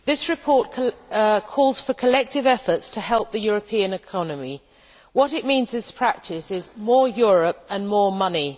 Mr President, this report calls for collective efforts to help the European economy. What it means in practice is more Europe and more money.